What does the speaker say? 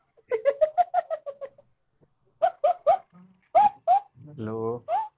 Hello